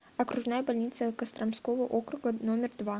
окружная больница костромского округа номер два